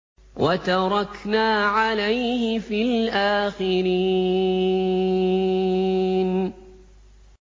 وَتَرَكْنَا عَلَيْهِ فِي الْآخِرِينَ